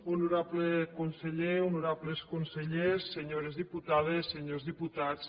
honorable conseller honorables consellers senyores diputades senyors diputats